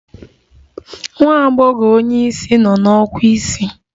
Nwa agbogho onye isi no na ọkwa isii